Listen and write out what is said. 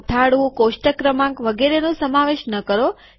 મથાળું કોષ્ટક ક્રમાંક વગેરેનો સમાવેશ ન કરો